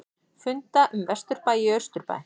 Funda um vesturbæ í austurbæ